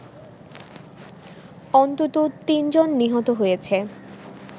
অন্তত তিনজন নিহত হয়েছে